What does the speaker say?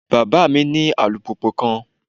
Baba mi ni alupupu kan